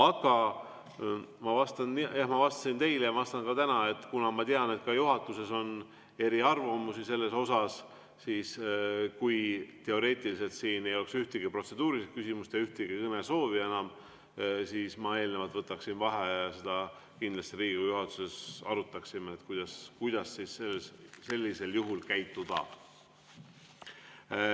Aga ma vastasin eile ja vastan ka täna, et kuna ma tean, et ka juhatuses on eriarvamusi selles osas, siis kui teoreetiliselt siin ei oleks ühtegi protseduurilist küsimust ja ühtegi kõnesoovi enam, siis ma eelnevalt võtaksin vaheaja ja me kindlasti Riigikogu juhatuses arutaksime, kuidas sellisel juhul käituda.